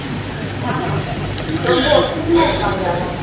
ஆமா ரொம்ப ஒற்றுமையா இருப்பாங்க